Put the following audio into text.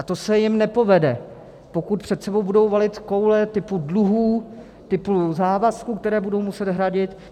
A to se ji nepovede, pokud před sebou budou valit koule typu dluhů, typu závazků, které budou muset hradit.